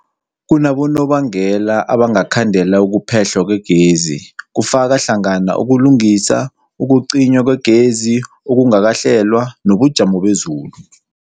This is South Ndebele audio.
Kunabonobangela abangakhandela ukuphehlwa kwegezi, kufaka hlangana ukulungisa, ukucinywa kwegezi okungakahlelwa, nobujamo bezulu.